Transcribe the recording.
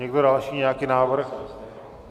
Někdo další nějaký návrh?